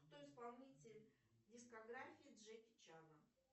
кто исполнитель дискографии джеки чана